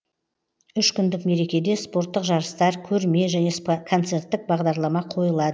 үш күндік мерекеде спорттық жарыстар көрме және концерттік бағдарлама қойылады